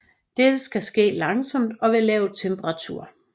Dette skal ske langsomt og ved lav temperatur